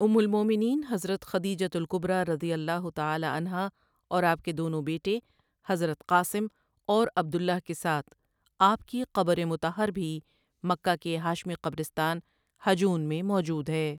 ام المومنین حضرت خدیجۃ الکبریٰ رضی اللہ تعالیٰ عنہا اور آپ کے دونوں بیٹے حضرت قاسمؑ اور عبد اللہؑ کے ساتھ آپؑ کی قبر مطہر بھی مکہ کے ہاشمی قبرستان ہجون میں موجود ہے ۔